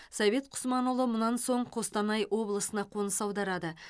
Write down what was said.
совет құсманұлы мұнан соң қостанай облысына қоныс аударады